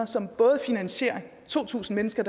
som både finansierer at to tusind mennesker